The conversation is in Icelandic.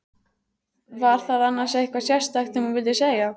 Var það annars eitthvað sérstakt sem þú vildir segja?